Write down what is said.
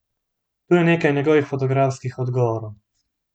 Tu je nekaj njegovih fotografskih odgovorov.